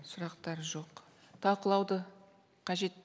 сұрақтар жоқ талқылауды қажет